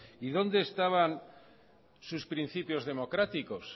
y dónde estaban sus principios democráticos